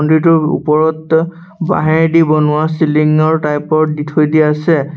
মন্দিৰটোৰ ওপৰত বাঁহেৰদি বনোৱা চিলিংৰ টাইপৰ দি থৈ দিয়া আছে।